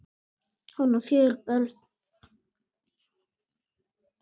Hún á fjögur börn.